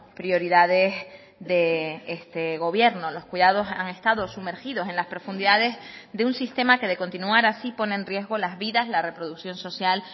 prioridades de este gobierno los cuidados han estado sumergidos en las profundidades de un sistema que de continuar así pone en riesgo las vidas la reproducción social